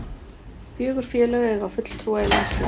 Fjögur félög eiga fulltrúa í landsliðinu